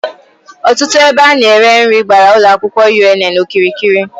Otutu ebe a na-ere nri gbara Ulo akwukwo UNN okirikiri